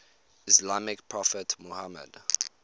islamic prophet muhammad